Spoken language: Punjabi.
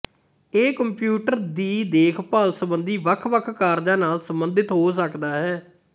ਇਹ ਕੰਪਿਊਟਰ ਦੀ ਦੇਖਭਾਲ ਸੰਬੰਧੀ ਵੱਖਵੱਖ ਕਾਰਜਾਂ ਨਾਲ ਸਬੰਧਿਤ ਹੋ ਸਕਦਾ ਹੈ